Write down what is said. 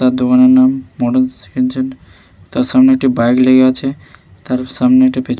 তার দোকানের নাম মর্ডানস হেনচেন । তার সামনে একটি বাইক লেগে আছে। তার সামনে একটা পে --